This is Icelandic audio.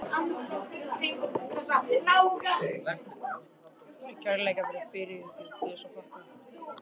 Það er kærleika og fyrirhyggju Guðs að þakka.